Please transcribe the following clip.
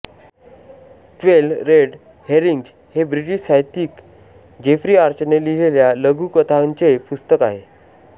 twelve red herrings हे British साहित्यिक Jeffrey आर्चरने लिहिलेल्या लघुकथांचे पुस्तक आहे